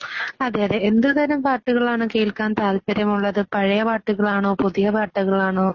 അതെയതെ .. എന്തുതരം പാട്ടുകളാണ് കേൾക്കാൻ താല്പര്യമുള്ളത്? പഴയ പാട്ടുകളാണോ പുതിയ പാട്ടുകളാണോ